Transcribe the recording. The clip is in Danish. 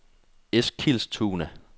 Eskilstuna